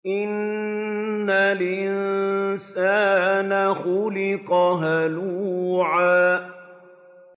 ۞ إِنَّ الْإِنسَانَ خُلِقَ هَلُوعًا